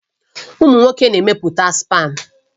Ụmụ nwoke na-emepụta spam